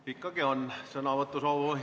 Ikkagi on sõnavõtusoovi.